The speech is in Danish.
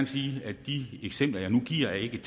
sige at de eksempler jeg nu giver ikke